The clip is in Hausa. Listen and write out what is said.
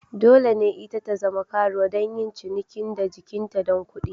Dole ne ita zama karuwa don yin cinikin da jikinta don kuɗi.